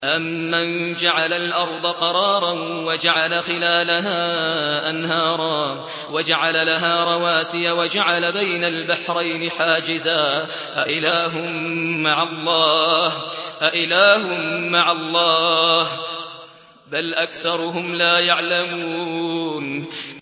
أَمَّن جَعَلَ الْأَرْضَ قَرَارًا وَجَعَلَ خِلَالَهَا أَنْهَارًا وَجَعَلَ لَهَا رَوَاسِيَ وَجَعَلَ بَيْنَ الْبَحْرَيْنِ حَاجِزًا ۗ أَإِلَٰهٌ مَّعَ اللَّهِ ۚ بَلْ أَكْثَرُهُمْ لَا يَعْلَمُونَ